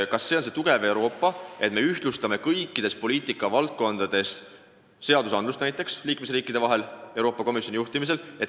Kas siis on Euroopa tugev, kui me ühtlustame Euroopa Komisjoni juhtimisel kõikides poliitikavaldkondades liikmesriikide seadusandlust?